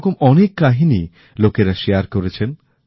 এরকম অনেক কাহিনী লোকেরা ভাগ করে নিয়েছেন